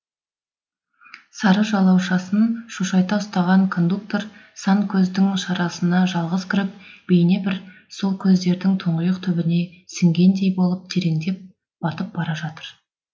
сары жалаушасын шошайта ұстаған кондуктор сан көздің шарасына жалғыз кіріп бейнебір сол көздердің тұңғиық түбіне сіңгендей болып тереңдеп батып бара жатыр